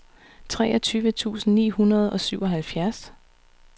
treogtyve tusind ni hundrede og syvoghalvfjerds